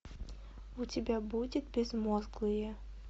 у тебя будет безмозглые